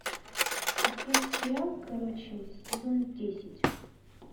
открой сериал короче сезон десять